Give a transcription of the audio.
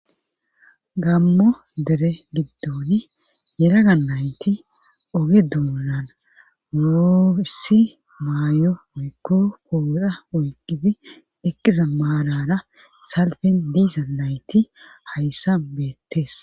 gammo dere giddoni yeraga nayti oge duunan muussi maayo moykko pooda oyqqizi ekiza maalara salfen diisa nayti hayssa beettees